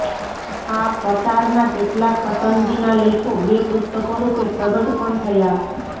આ કટારના કેટલાક પસંદગીના લેખો બે પુસ્તકો રૂપે પ્રગટ પણ થયા